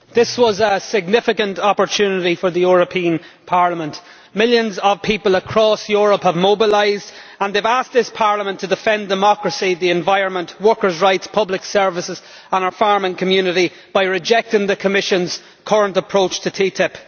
Madam President, this was a significant opportunity for the European Parliament. Millions of people across Europe have mobilised and they have asked this Parliament to defend democracy, the environment, workers' rights, public services and our farming community by rejecting the Commission's current approach to TTIP.